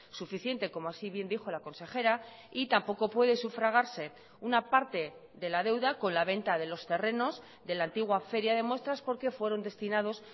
suficiente como así bien dijo la consejera y tampoco puede sufragarse una parte de la deuda con la venta de los terrenos de la antigua feria de muestras porque fueron destinados